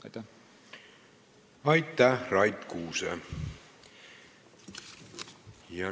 Aitäh, Rait Kuuse!